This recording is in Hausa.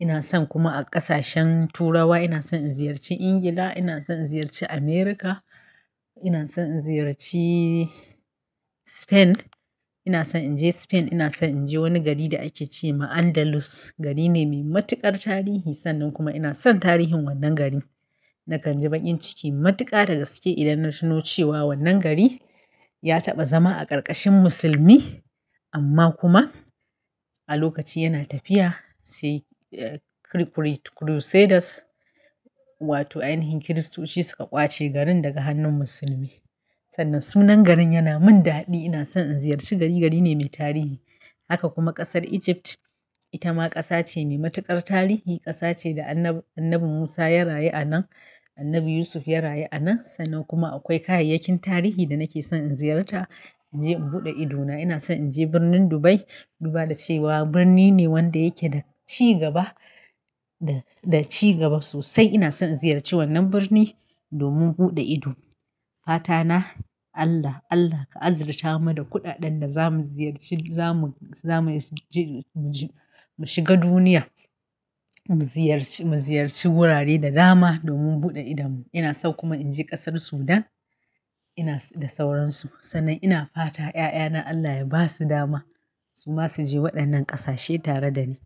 Ina son kuma a ƙasashen Turawa ina son in ziyarci England, ina son in ziyarci America, ina son in ziyarci Spain. Ina son in je Spain, ina son in je wani gari da ake ce ma Andalus. Gari ne mai matuƙar tarihi, sannan kuma ina son tarihin wannan gari. Nakan ji baƙin ciki matuƙa da gaske, idan na tuno cewa wannan gari, ya taɓa zama a karkashin musulmi, amma kuma a lokaci yana tafiya, sai Crusades, wato ainihin kiristoci suka ƙwace garin daga hannun musulmi. Sannan sunan garin yana min daɗi ina son in ziyarci gari gari ne mai tarihi. Haka kuma ƙasar Egypt ita ma ƙasa ce mai matuƙar tarihi. Ƙasa ce da Annabi Musa ya rayu a nan, Annabi Yusuf ya rayu a nan. Sannan kuma akwai kayayyakin tarihi da nake son in ziyarta in je in buɗe idona. Ina son in je birnin Dubai. Duba da cewa birni ne wanda yake da cigaba, da cigaba sosai. Ina son in ziyarci wannan birni, domin buɗe ido. Fata na Allah, Allah ka azurta mu da kuɗaɗen da za mu ziyarci, za mu, za mu je, mu shiga duniya, mu ziyarci, mu ziyarci wurare da dama domin buɗe idanmu. Ina so kuma in je ƙasar Sudan, inas, da sauransu. Sannan ina fata ƴaƴana Allah ya ba su dama, su ma su je waɗannan ƙasashe tare da ni.